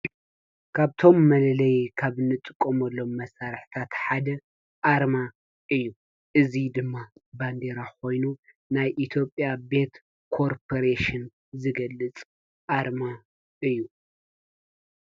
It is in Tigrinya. ካብቶም መለለዪ ካብ እንጥቀመሎም መሳርሕታት ሓደ ኣርማ እዩ ።እዚ ድማ ባንዴራ ኮይኑ ናይ ኢትዮጵያ ቤት ኮርፐሬሽን ዝገልፅ ኣርማ እዩ።